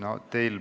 Aitäh!